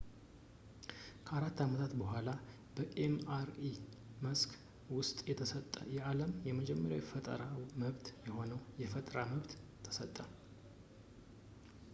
ከአራት ዓመታት በኋላ በ ኤምአርአይ መስክ ውስጥ የተሰጠ የዓለም የመጀመሪያ የፈጠራ መብት የሆነው የፈጠራ መብት ተሰጠ